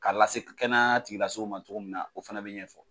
K'a lase kɛnɛya ma cogo min na o fana bɛ ɲɛfɔ